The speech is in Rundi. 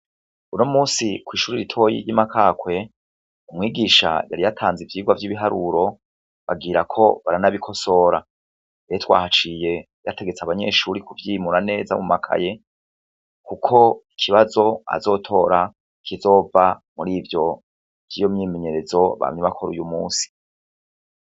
Unomusi kw'ishuri ritoyi ry'imakakwe, umwigisha yari yatanze ivyirwa vy'ibiharuro, bagirako baranabikosora, rero twahaciye yategetse abanyeshuri kuvyimura neza mumakaye, kuko ikibazo azotora kizova muri ivyo vy'iyo myimenyerezo bamye bakora uyu musi.